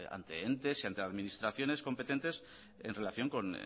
ante entes y ante administraciones competentes en relación con